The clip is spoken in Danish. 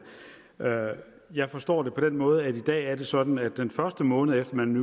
jeg forstår det på den måde at i dag er det sådan at den første måned efter man